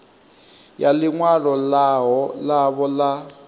ya ḽi ṅwalo ḽavho ḽa